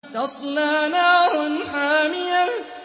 تَصْلَىٰ نَارًا حَامِيَةً